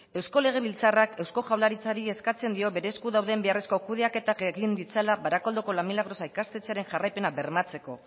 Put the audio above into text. eusko legebiltzarrak eusko jaurlaritzari eskatzen dio bere esku dauden beharrezko kudeaketak egin ditzala barakaldoko la milagrosa ikastetxearen jarraipena bermatzeko